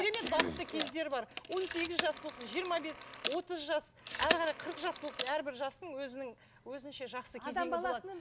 керемет бақытты кездер бар он сегіз жас болсын жиырма бес отыз жас әрі қарай қырық жас болсын әрбір жастың өзінің өзінше жақсы кезеңі болады